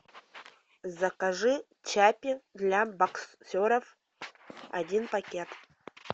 закажи чаппи для боксеров один пакет